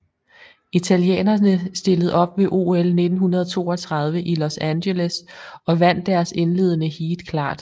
Italienerne stillede op ved OL 1932 i Los Angeles og vandt deres indledende heat klart